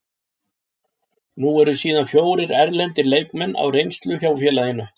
Nú eru síðan fjórir erlendir leikmenn á reynslu hjá félaginu.